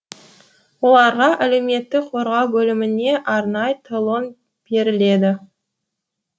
оларға әлеуметтік қорғау бөлімінен арнайы талон беріледі